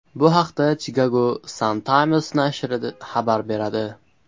Bu haqda Chicago Sun-Times nashri xabar beradi .